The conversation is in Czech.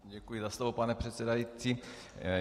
Děkuji za slovo, pane předsedající.